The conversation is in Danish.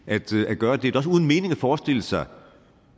at gøre det det er også uden mening at forestille sig